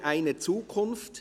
«Eine Lehre – eine Zukunft».